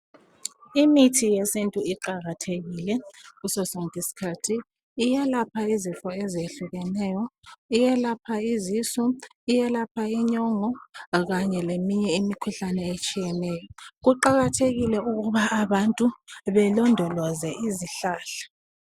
Imithi yesintu iqakathekile ngaso sonke isikhathi iyelapha izifo ezitshiyeneyo iyelapha isisu, iyelapha inyongo kanye leminye imikhuhlane etshiyeneyo kuqakathekile ukuba abantu belondoloze izihlahla